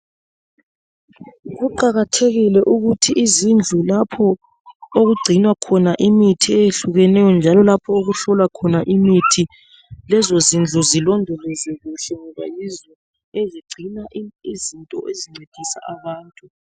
Kuqakathekile ukuthi izindlu lapho okugcinwa khona imithi eyehlukeneyo njalo lapho okuhlolwa khona imithi, lezo zindlu zilondolozwe kuhle ngoba yizo ezigcina izinto ezincedisa abantu.